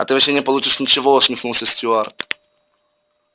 а ты вообще не получишь ничего усмехнулся стюарт